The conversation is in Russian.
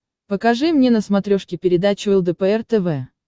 покажи мне на смотрешке передачу лдпр тв